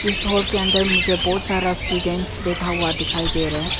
इस हॉल के अंदर मुझे बहुत सारा स्टूडेंट बैठा हुआ दिखाई दे रहा है।